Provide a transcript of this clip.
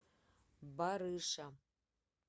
барыша